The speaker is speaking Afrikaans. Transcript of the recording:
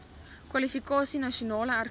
kwalifikasie nasionaal erkende